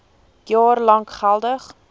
jaar lank geldig